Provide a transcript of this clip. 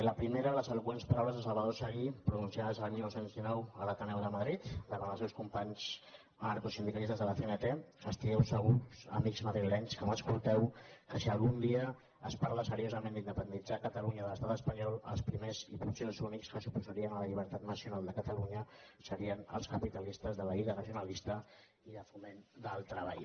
la primera les eloqüents paraules de salvador seguí pronunciades el dinou deu nou a l’ateneu de madrid davant els seus companys anarcosindicalistes de la cnt estigueu segurs amics madrilenys que m’escolteu que si algun dia es parla seriosament d’independitzar catalunya de l’estat espanyol els primers i potser els únics que s’oposarien a la llibertat nacional de catalunya serien els capitalistes de la lliga regionalista i de foment del treball